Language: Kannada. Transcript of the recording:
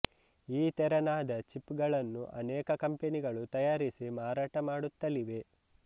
ಈ ತೆರನಾದ ಚಿಪ್ ಗಳನ್ನು ಅನೇಕ ಕಂಪನಿಗಳು ತಯಾರಿಸಿ ಮಾರಟ ಮಾಡುತ್ತಲಿವೆ